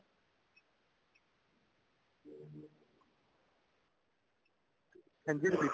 ਹਾਂਜੀ repeat